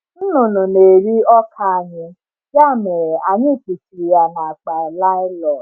Nnụnụ na-eri ọka anyị, ya mere anyị kpuchiri ya na akpa nylon.